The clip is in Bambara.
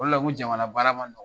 O de la ko jamana baara ma nɔgɔ.